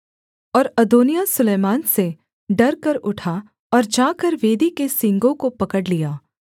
और अदोनिय्याह सुलैमान से डरकर उठा और जाकर वेदी के सींगों को पकड़ लिया